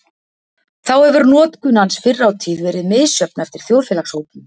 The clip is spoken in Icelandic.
Þá hefur notkun hans fyrr á tíð verið misjöfn eftir þjóðfélagshópum.